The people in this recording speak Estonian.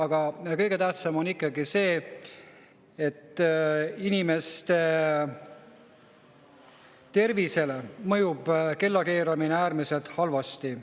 Aga kõige tähtsam ikkagi on see, et inimese tervisele mõjub kellakeeramine äärmiselt halvasti.